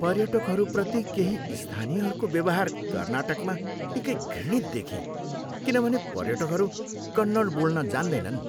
पर्यटकहरूप्रति केही स्थानीयहरूको व्यवहार कर्नाटकमा निकै घृणित देखेँ किनभने पर्यटकहरू कन्नड बोल्न जान्दैनन्।